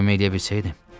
Sizə kömək eləyə bilsəydim.